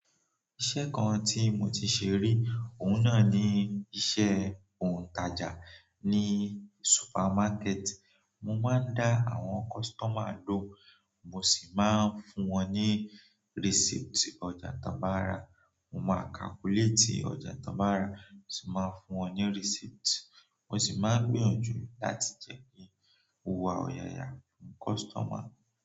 Iṣẹ́ kan tí mo ti se rí, òun náà ni iṣẹ́ òǹtajà ní supermarket. Mo máa ń dá àwọn customer lọhun, mo sì máa ń fún wọn ní receipt ọjà tán bá ra. Mo máa calculate ọjà tán bá ra, mo sì máa fún wọn ní receipt. Mo sì máa n gbìyànjú láti jẹ́ kí mo wá ọ̀yàyà fún customer.